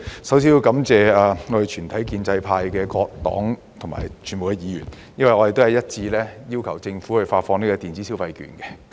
首先要感謝建制派的各個黨派和全體議員，因為我們一致要求政府發放電子消費券。